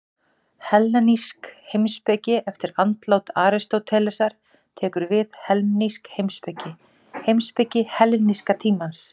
Hellenísk heimspeki Eftir andlát Aristótelesar tekur við hellenísk heimspeki, heimspeki helleníska tímans.